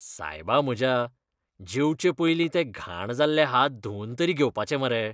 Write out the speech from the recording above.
सायबा म्हज्या! जेवचे पयलीं ते घाण जाल्ले हात धुवन तरी घेवपाचे मरे.